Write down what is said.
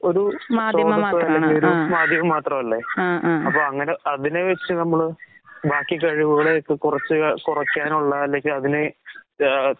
ഒരൂ ലോകത്ത് മാധ്യമം മാത്രമല്ലെ? അങ്ങനെ അതിനെവെച്ച് നമ്മള് ബാക്കി കഴിവുകളെ കുറച്ച് കുറക്കാനുള്ള അല്ലെങ്കി അതിനേ ആഹ്